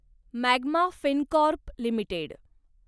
magma Fincorp limited